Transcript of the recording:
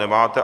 Nemáte.